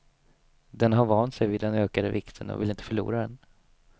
Den har vant sig vid den ökade vikten och vill inte förlora den.